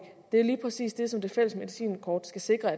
er lige præcis det som det fælles medicinkort skal sikre